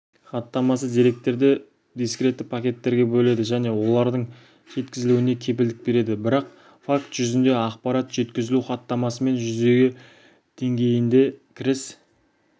хаттамасы деректерді дискретті пакеттерге бөледі және олардың жеткізілуіне кепілдік береді бірақ факт жүзінде ақпарат жеткізілу хаттамасымен жүзеге деңгейінде кіріс